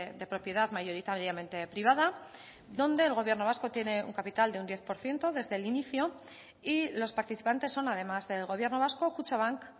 de propiedad mayoritariamente privada donde el gobierno vasco tiene un capital de un diez por ciento desde el inicio y los participantes son además del gobierno vasco kutxabank